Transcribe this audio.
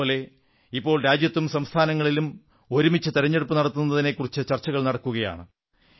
ഇതേപോലെ ഇപ്പോൾ രാജ്യത്തും സംസ്ഥാനങ്ങളിലും ഒരുമിച്ച് തിരഞ്ഞെടുപ്പു നടത്തുന്നതിനെക്കുറിച്ച് ചർച്ചകൾ നടക്കുകയാണ്